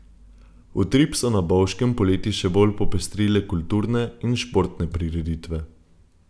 Utrip so na Bovškem poleti še bolj popestrile kulturne in športne prireditve.